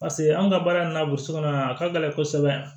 Paseke anw ka baara in na burusi kɔnɔna na a ka gɛlɛn kosɛbɛ